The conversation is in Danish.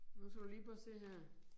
Nu skal du lige prøve at se her